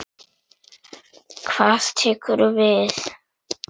Hvað tekur við?